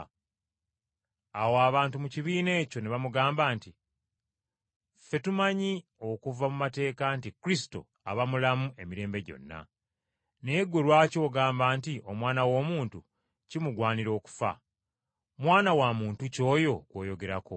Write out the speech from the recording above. Awo abantu mu kibiina ekyo ne bamugamba nti, “Ffe tumanyi okuva mu mateeka nti Kristo aba mulamu emirembe gyonna. Naye ggwe lwaki ogamba nti Omwana w’Omuntu kimugwanira okufa? Mwana wa Muntu ki oyo gw’oyogerako?”